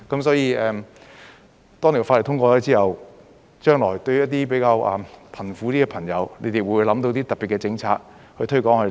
所以，當法例通過後，將來對於一些比較貧苦的朋友，你們會否想到特別的政策來推廣呢？